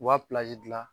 U b'a dilan